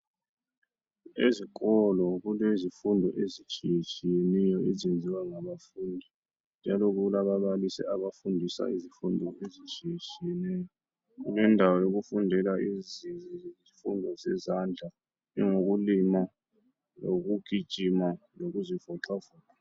Ezikolo kulezifundo ezitshiyeneyo ezenziwa ngabafundi njalo kulababalisi abafundisa izifundo ezitshiyeneyo. Kulendawo yokufundela izifundo zezandla ukulima, ukugijima lokuzivoxavoxa.